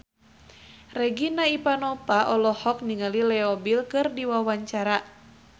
Regina Ivanova olohok ningali Leo Bill keur diwawancara